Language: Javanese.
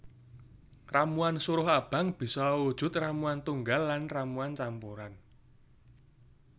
Ramuan suruh abang bisa awujud ramuan tunggal lan ramuan campuran